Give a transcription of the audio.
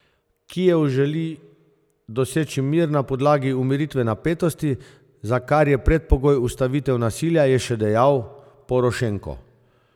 Kijev želi doseči mir na podlagi umiritve napetosti, za kar je predpogoj ustavitev nasilja, je še dejal Porošenko.